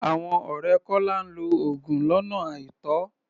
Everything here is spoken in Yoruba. Àwọn ọ̀rẹ́ Kọ́lá ń lo oògùn lọ́nà àìtọ́.